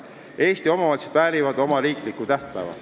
Eesti omavalitsused väärivad oma riiklikku tähtpäeva.